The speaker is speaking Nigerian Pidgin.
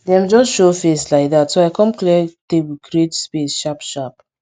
dem just show face like dat so i com clear table create space sharp sharp